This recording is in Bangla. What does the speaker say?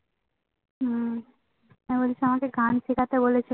হম আমাকে গান শিখতে বলেছে